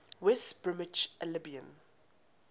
west bromwich albion